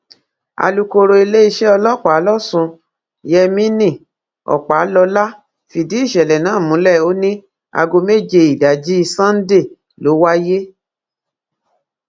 alūkkóró iléeṣẹ ọlọpàá lọsùn yemini ọpàlọlá fìdí ìṣẹlẹ náà múlẹ ó ní aago méje ìdájí sannde ló wáyé